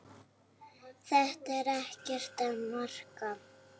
Þetta er ekkert að marka.